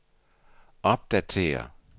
opdatér